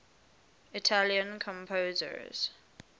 italian composers